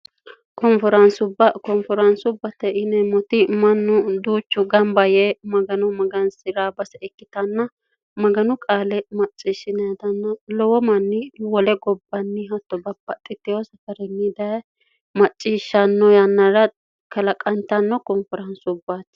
konferaansubbate ineemmoti mannu duuchu gamba yee magano magansi'rabbase ikkitanna maganu qaale macciishshintanna lowo manni wole gobbanni hatto bapa xiteho safarinni daye macciishshanno yannara kalaqantanno koonferaansubbaatti